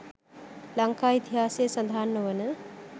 ලංකා ඉතිහාසයේ සඳහන් නොවන